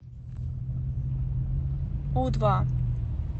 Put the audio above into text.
у два